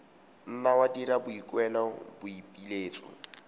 nna wa dira boikuelo boipiletso